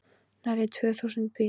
Nærri tvö þúsund bíða